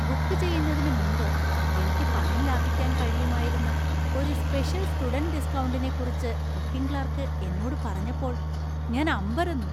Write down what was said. Book ചെയ്യുന്നതിന് മുമ്പ് എനിക്ക് പണം ലാഭിക്കാൻ കഴിയുമായിരുന്ന ഒരു സ്പെഷ്യൽ സ്റ്റുഡന്റ് ഡിസ്‌ക്കൗണ്ടിനെക്കുറിച്ച് ബുക്കിംഗ് ക്ലാർക്ക് എന്നോട് പറഞ്ഞപ്പോൾ ഞാൻ അമ്പരന്നു.